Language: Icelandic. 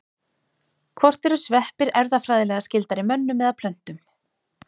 Hvort eru sveppir erfðafræðilega skyldari mönnum eða plöntum?